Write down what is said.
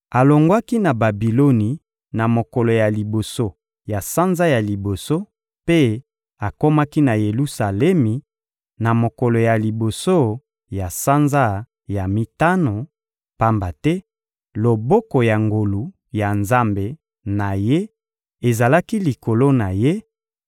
Alongwaki na Babiloni na mokolo ya liboso ya sanza ya liboso mpe akomaki na Yelusalemi na mokolo ya liboso ya sanza ya mitano, pamba te loboko ya ngolu ya Nzambe na ye ezalaki likolo na ye,